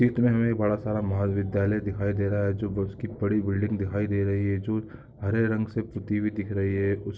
ईत में हमे एक बड़ा सारा महा विध्यालय दिखाई दे रहा है जो उसकी बड़ी बिल्डिंग दिखाई दे रही है जो हरे रंग से पुती हुई दिख रही है।